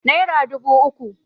naira dubu uku